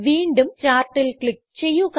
വീണ്ടും ചാർട്ടിൽ ക്ലിക്ക് ചെയ്യുക